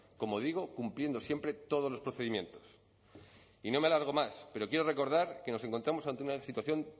como digo cumpliendo siempre todos los procedimientos y no me alargo más pero quiero recordar que nos encontramos ante una situación